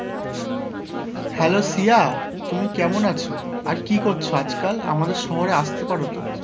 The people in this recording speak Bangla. Hello সিয়া, তুমি কেমন আছো? আর কি করছো আজকাল? আমাদের শহরে আসতে পারো তো?